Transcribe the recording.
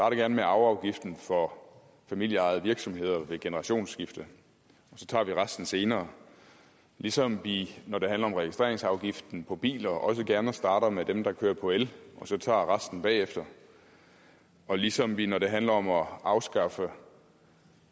gerne med arveafgiften for familieejede virksomheder ved generationsskifte og så tager vi resten senere lige som vi når det handler om registreringsafgiften på biler også gerne starter med dem der kører på el og så tager resten bagefter og lige som vi når det handler om at afskaffe